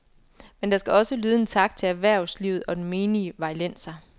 Men der skal også lyde en tak til erhvervslivet og den menige vejlenser.